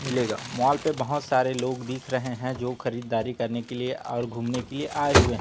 मिलेगा मॉल पे बहोत सारे लोग दिख रहे हैं जो खरीदारी करने के लिए और घूमने के लिए आए हुए--